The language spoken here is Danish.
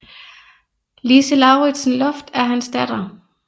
Lise Lauritzen Loft er hans datter